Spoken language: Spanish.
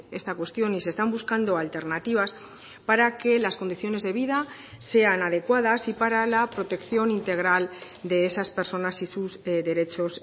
esta cuestión y se están buscando alternativas para que las condiciones de vida sean adecuadas y para la protección integral de esas personas y sus derechos